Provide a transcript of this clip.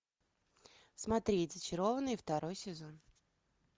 смотреть зачарованные второй сезон